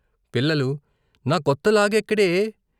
పిల్లలు నా కొత్త లాగెక్కడే?